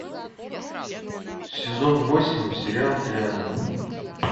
сезон восемь сериал триада